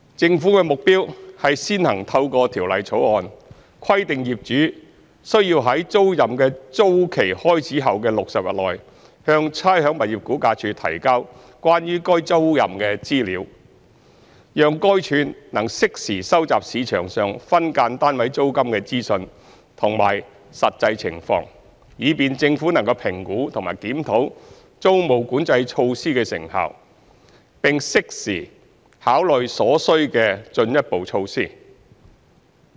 政府的目標是先行透過《條例草案》，規定業主須在租賃的租期開始後的60日內，向差餉物業估價署提交關於該租賃的資料，讓該署能適時收集市場上分間單位租金的資訊和實際情況，以便政府能評估及檢討租務管制措施的成效，並在適時考慮所需的進一步措施。